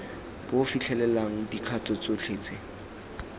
bo fitlhelelang dikgato tsotlhe tse